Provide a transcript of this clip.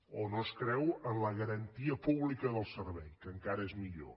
o no es creu en la garantia pública del servei que encara és millor